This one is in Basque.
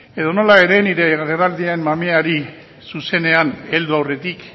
edonola ere nire agerraldiaren mamiari zuzenean heldu aurretik